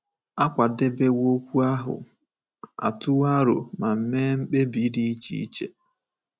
A kwadebewo okwu ahụ, a tụwo aro ma mee mkpebi dị iche iche.